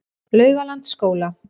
Laugalandsskóla